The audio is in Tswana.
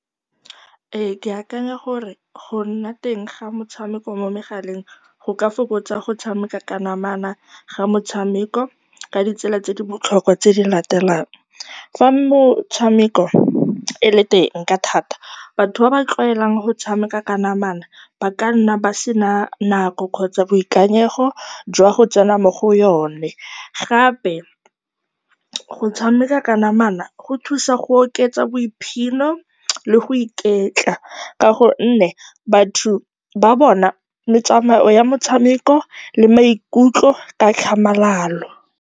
Ee, ke akanya gore go nna teng ga metshameko mo megaleng go ka fokotsa go tshameka ka namana ga motshameko ka ditsela tse di botlhokwa tse di latelang, fa motshameko e le teng ka thata, batho ba ba tlwaelang go tshameka ka namana ba ka nna ba sena nako kgotsa boikanyego jwa go tsena mo go yone. Gape go tshameka ka namana go thusa go oketsa boiphino le go iketla ka gonne batho ba bona metsamayo ya motshameko le maikutlo ka tlhamalalo.